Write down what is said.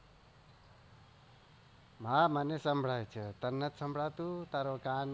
હા મને સંભળાય છે તને નથી સંભળાતું ટેરો કાન